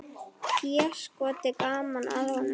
Déskoti gaman að honum.